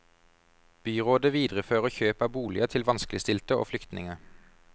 Byrådet viderefører kjøp av boliger til vanskeligstilte og flyktninger.